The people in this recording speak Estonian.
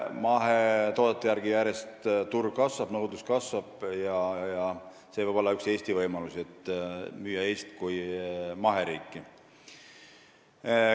Mahetoodete järele nõudlus järjest kasvab ja see võib olla üks Eesti võimalusi, et müüa Eestit kui maheriiki.